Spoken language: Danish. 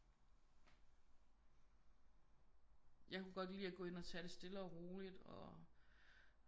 Jeg kunne godt lide at gå ind og tage det stille og roligt og